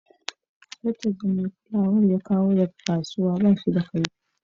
Zarton da mai kulawan ya kawo daga kasuwa baya ci.